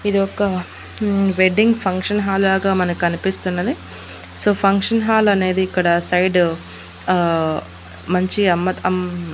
ఇది ఒక్క మ్మ్ వెడ్డింగ్ ఫంక్షన్ హాల్ లాగా మనకనిపిస్తున్నది సో ఫంక్షన్ హాల్ అనేది ఇక్కడ సైడు ఆ మంచి అమ్మకం--